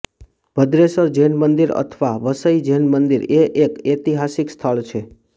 ભદ્રેસર જૈન મંદિર અથવા વસઈ જૈન મંદિર એ એક ઐતિહાસિક સ્થળ છે